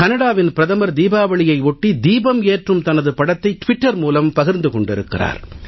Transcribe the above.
கனடாவின் பிரதமர் தீபாவளியையொட்டி தீபம் ஏற்றும் தனது படத்தை ட்விட்டர் மூலம் பகிர்ந்து கொண்டிருக்கிறார்